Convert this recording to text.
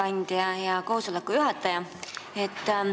Aitäh, hea koosoleku juhataja!